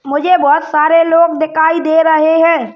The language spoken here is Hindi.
मुझे बोहोत सारे लोग दिखाई दे रहे हैं।